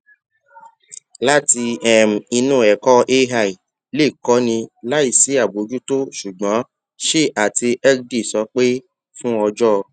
láti um inú ẹkọ ai lè kóni láìsí àbójútó ṣùgbọn shi àti hegde sọ pé fún ọjọ